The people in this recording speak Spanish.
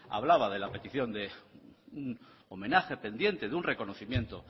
hablaba de la petición de un homenaje pendiente de un reconocimiento